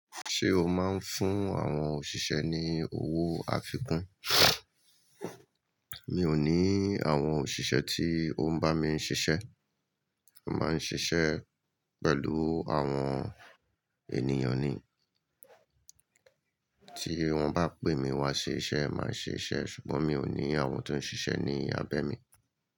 Ṣé o máa ń fún àwọn òṣìṣẹ́ ní owó àfikún? Mi ò ní àwọn òṣìṣẹ́ tí ó ń bá mi ṣiṣẹ́. Mo máa ń ṣiṣẹ́ pẹ̀lú àwọn ènìyàn ni. Tí wọ́n bá pè mí wá ṣe iṣẹ́, màá ṣe iṣẹ́ ṣùgbọ́n mi ò ní àwọn tó ń ṣiṣẹ́ ní ábẹ́ mi.